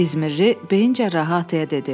İzmirdə beyin cərrahı ataya dedi.